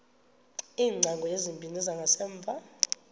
iingcango ezimbini zangasemva